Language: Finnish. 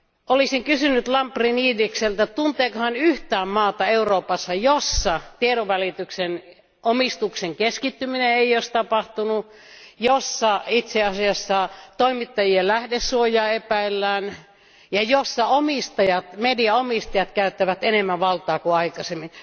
Olisin kysynyt Lambrinidikselta, tunteeko hän yhtään maata Euroopassa, jossa tiedonvälityksen omistuksen keskittymistä ei olisi tapahtunut, jossa itse asiassa toimittajien lähdesuojaa epäillään ja jossa median omistajat käyttävät enemmän valtaa kuin aikaisemmin.